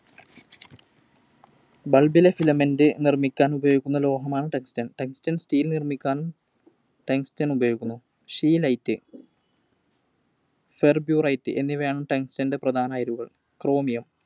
Bulb ലെ filament നിർമ്മിക്കാൻ ഉപയോഗിക്കുന്ന ലോഹമാണ് Tungsten. Tungsten steel നിർമ്മിക്കാൻ Tungsten ഉപയോഗിക്കുന്നു. Scheelite, Ferberite എന്നിവയാണ് Tungsten ൻറെ പ്രധാന ആയിരുകൾ. Chromium